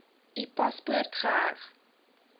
u paspoort geheg